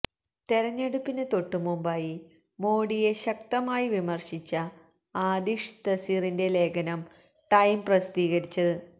തെരഞ്ഞെടുപ്പിന് തൊട്ടുമുമ്പായിരുന്ന മോഡിയെ ശക്തമായി വിമര്ശിച്ച ആതിഷ് തസീറിന്റെ ലേഖനം ടൈം പ്രസിദ്ധീകരിച്ചത്